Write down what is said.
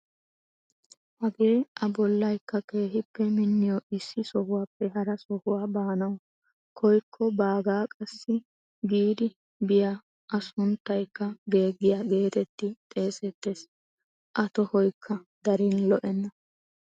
Hagee a bollaykka keehippe minniyoo issi sohuwaappe hara sohuwaa baanawu koyikko baagaa qassi giidi biyaa a sunttaykka geeggeiyaa geetetti xeesettees. a tohoykka darin lo"enna.